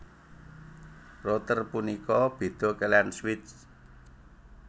Router punika béda kaliyan switch